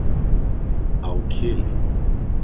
Á Kili.